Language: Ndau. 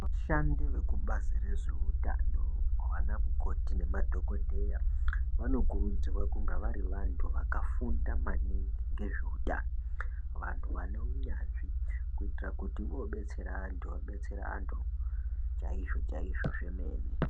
Vashandi vekubazi rezveutano vana mukoti nemadhokodheya vanokurudzirwa kuti vanga vari vantu vakafunda maningi ngezveutano vanhu vane unyanzvi kuitira kuti vobetsera vanhu vabetsere vanhu chaizvo-chaizv zvemene.